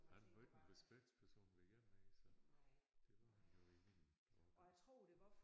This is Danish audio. Han var ikke en respektsperson ved jer mere så det var han jo i min årgang